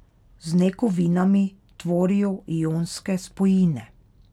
Z nekovinami tvorijo ionske spojine.